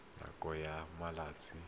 nakong ya malatsi a le